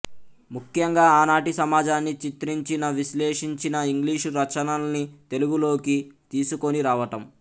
ముఖ్యంగా ఆనాటి సమాజాన్ని చిత్రించినవిశ్లేషించిన ఇంగ్లీషు రచనల్ని తెలుగులోకి తీసుకొని రావటం